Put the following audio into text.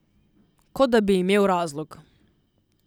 Kot da bi imel razlog!